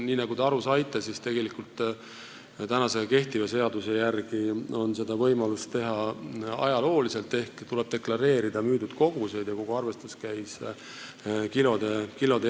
Nii nagu te aru saite, siis kehtiva seaduse järgi on seda võimalik teha ajalooliselt: tuleb deklareerida müüdud kogused ja kogu arvestus käib kilode järgi.